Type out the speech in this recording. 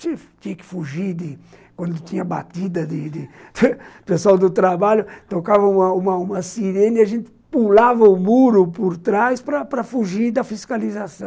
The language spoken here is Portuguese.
Tinha que fugir de... Quando tinha batida de de pessoal do trabalho, tocava uma uma uma sirene e a gente pulava o muro por trás para para fugir da fiscalização.